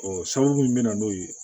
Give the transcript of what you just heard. Ɔ sababu min bɛ na n'o ye